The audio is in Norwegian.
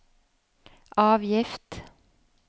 avgift